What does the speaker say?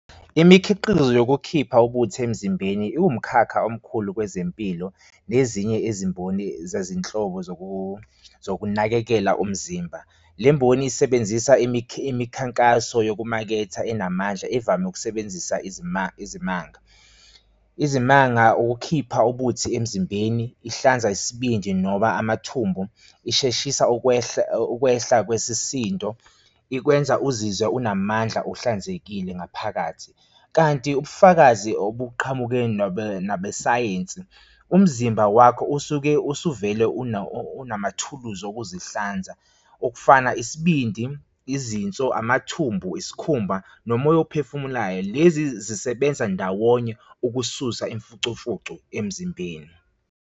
Imikhiqizo yokukhipha ubuthi emzimbeni iwumkhakha omkhulu kwezempilo nezinye ezimboni zezinhlobo zokunakekela umzimba. Le mboni isebenzisa imikhankaso yokumaketha enamandla evame ukusebenzisa izimanga. Izimanga ukukhipha ubuthi emzimbeni, ihlanza isibindi noma amathumbu, isheshisa ukwehla, ukwehla kwesisindo ikwenza uzizwe unamandla ohlanzekile ngaphakathi, kanti ubufakazi obuqhamuke nabesayensi, umzimba wakho usuke usuvele unamathuluzi okuzihlanza okufana isibindi, izinso, amathumbu, isikhumba nomoya uphefumulayo. Lezi zisebenza ndawonye ukususa imfucumfucu emzimbeni.